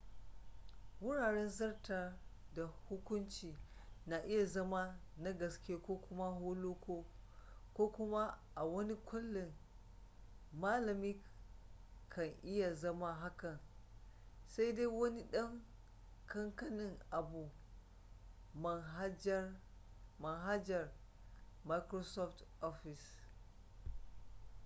wuraren zartar da hukuncin na iya zama na gaske ko kuma holoko ko kuma a wani kaulin malami ka iya zama hakan sai dai wani dan kankanin abu manhajar microsoft office